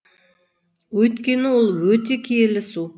өйткені ол өте киелі су